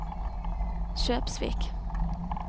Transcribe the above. Kjøpsvik